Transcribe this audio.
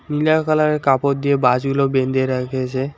নীলা কালারের কাপড় দিয়ে বাঁশগুলো বেঁন্ধে রেখেছে।